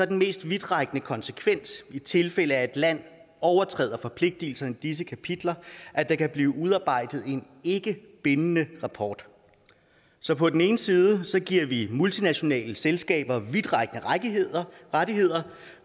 den mest vidtrækkende konsekvens i tilfælde af at et land overtræder forpligtelserne i disse kapitler at der kan blive udarbejdet en ikkebindende rapport så på den ene side giver vi multinationale selskaber vidtrækkende rettigheder rettigheder